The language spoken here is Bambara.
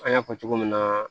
An y'a fɔ cogo min na